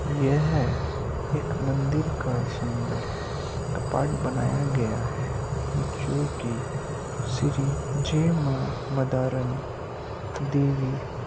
यह हैं एक मंदिर का सुंदर अ-पार्ट बनाया गया हैं जो की श्री जे मा मदारण देवी--